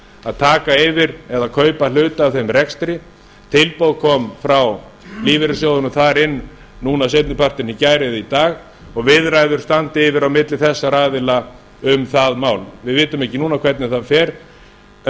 að taka yfir eða kaupa hlut af þeim rekstri tilboð kom frá lífeyrissjóðunum þar inn núna seinni partinn í gær eða í dag og viðræður standa yfir milli þessara aðila um það mál við vitum ekki núna hvernig það fer en